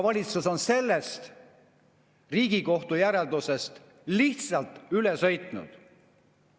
Valitsus on sellest Riigikohtu järeldusest lihtsalt üle sõitnud.